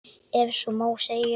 Ef svo má segja.